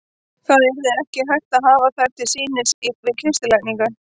Það yrði ekki hægt að hafa þær til sýnis við kistulagningu.